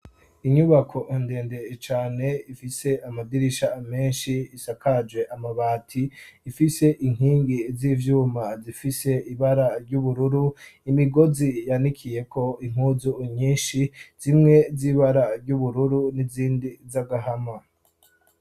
Inyubako ndende cane ifise amadirisha menshi isakaje amabati ifise inkingi z'ivyuma zifise ibara ry'ubururu imigozi yanikiyeko impuzu nyinshi zimwe z'ibara ry'ubururu n'izindi z'agahama.